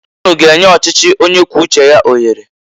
Unu g'enye ọchichi onye kwuo uche ya ohere!